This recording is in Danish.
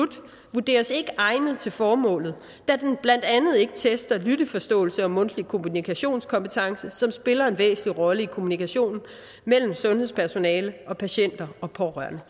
vurderes ikke egnet til formålet da den blandt andet ikke tester lytteforståelse og mundtlig kommunikationskompetence som spiller en væsentlig rolle i kommunikationen mellem sundhedspersonale og patienter og pårørende